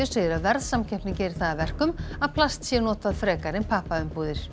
segir að verðsamkeppni geri það að verkum að plast sé notað frekar en pappaumbúðir